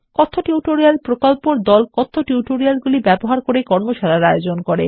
কথ্য টিউটোরিয়াল প্রকল্পর দল কথ্য টিউটোরিয়ালগুলি ব্যবহার করে কর্মশালার আয়োজন করে